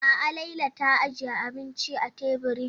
A'a Laila ta ajiye abinci a teburin.